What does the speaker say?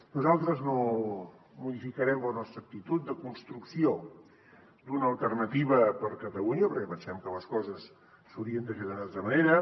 nosaltres no modificarem la nostra actitud de construcció d’una alternativa per a catalunya perquè pensem que les coses s’haurien de fer d’una altra manera